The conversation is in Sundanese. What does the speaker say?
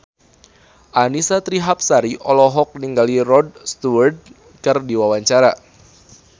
Annisa Trihapsari olohok ningali Rod Stewart keur diwawancara